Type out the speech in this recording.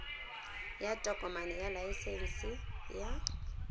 ya tokomane ya laesense ya